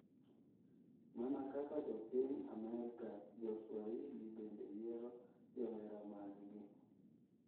Mana kaka jo piny Amerka joswahili bende yiero johera maggi.